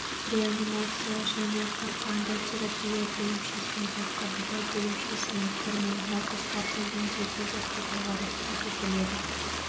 реанимация және қарқынды терапия бөлімшесінде қабылдау бөлімшесіне кірмей науқастарды емдеуге жатқызуға рұқсат етіледі